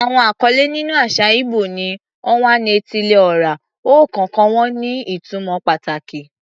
Àwọn àkọlé nínú àṣà ìgbò ni "Onwa-na-etili-ora," ọ̀kọ̀ọ̀kan wọn ní ìtumọ̀ pàtàkì.